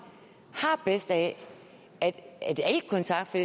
har bedst af at al kontakt for